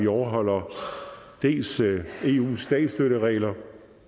overholder eus statsstøtteregler